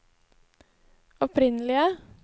opprinnelige